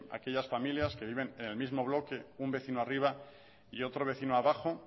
aquellas familias que viven en el mismo bloque un vecino arriba y otro vecino abajo